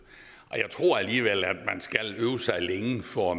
jeg tror alligevel at man skal øve sig længe for at